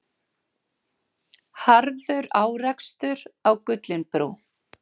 Harður árekstur á Gullinbrú